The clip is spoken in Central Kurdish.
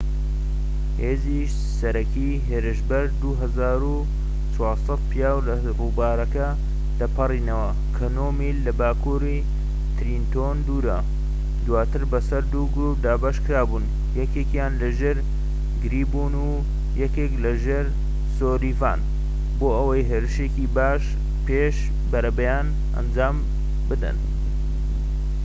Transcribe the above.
هێزی سەرەکی هێرشبەر 2400 پیاو لە ڕووبارەکە دەپەڕینەوە کە نۆ میل لە باکووری ترێنتۆن دوورە و دواتر بەسەر دوو گرووپ دابەش بوون یەکێکیان لەژێر گریین و یەکێکیان لەژێر سولڤیان بۆ ئەوەی هێرشێکی پێش بەرەبەیان ئەنجام بدەن